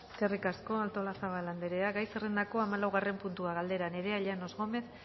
eskerrik asko artolazabal anderea gai zerrendako hamalaugarren puntua galdera nerea llanos gómez